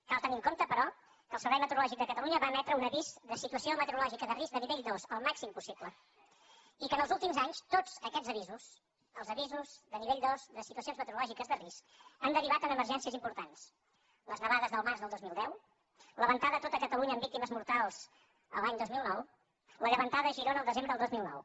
cal tenir en compte però que el servei meteorològic de catalunya va emetre un avís de situació meteorològica de risc de nivell dos el màxim possible i que els últims anys tots aquests avisos els avisos de nivell dos de situacions meteorològiques de risc han derivat en emergències importants les nevades del març del dos mil deu la ventada a tot catalunya amb víctimes mortals l’any dos mil nou la llevantada a girona el desembre del dos mil nou